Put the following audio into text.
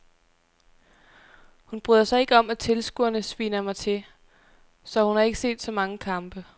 Hun bryder sig ikke om at tilskuerne sviner mig til, så hun har ikke set så mange kampe.